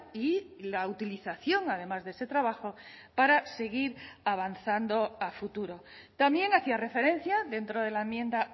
y la utilización además de ese trabajo para seguir avanzando a futuro también hacía referencia dentro de la enmienda